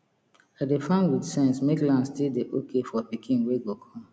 i dey farm with sense make land still dey okay for pikin wey go come